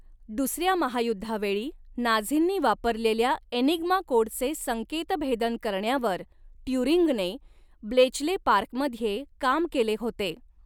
दुसऱ्या महायुद्धावेळी नाझींनी वापरलेल्या एनिग्मा कोडचे संकेतभेदन करण्यावर ट्युरिंगने ब्लेचले पार्कमध्ये काम केले होते.